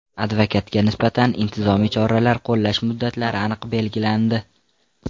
Advokatga nisbatan intizomiy choralar qo‘llash muddatlari aniq belgilandi.